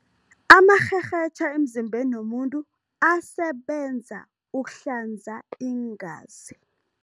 Amarherhetjha emzimbeni womuntu asebenza ukuhlanza iingazi.